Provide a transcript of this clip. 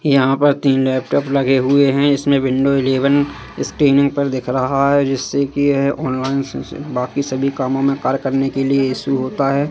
यहां पर तीन लैपटॉप लगे हुए हैं इसमें विंडो इलेवन स्क्रीन पर दिख रहा है जिससे की है ऑनलाइन से बाकी सभी कामों में कार्य करने के लिए इशू होता हैं।